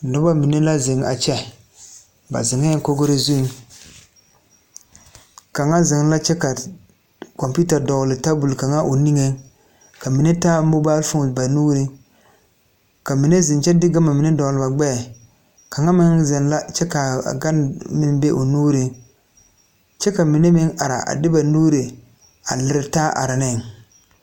Nobɔ mine la zeŋ a kyɛ ba zeŋɛɛ kogre zuŋ kaŋa zeŋ la kyɛ ka kɔmpiuta dɔgle tabol kaŋa o niŋeŋ ka mine taa mobalfoon ba nuuriŋ ka mine zeŋ kyɛ de gama mine dɔgle ba gbɛɛ kaŋa meŋ zeŋ la kyɛ kaa a gan meŋ be o nuuriŋ kyɛ ka mine meŋ ara a de ba nuure a lire taa are neŋ.